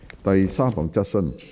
第三項質詢。